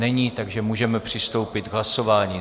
Není, takže můžeme přistoupit k hlasování.